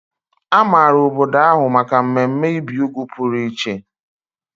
A maara obodo ahụ maka mmemme ibi úgwù pụrụ iche.